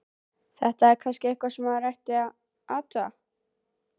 Þetta er kannski eitthvað sem maður ætti að athuga.